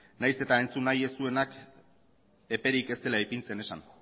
nahiz eta entzun nahi ez duenak eperik ez dela ipintzen esan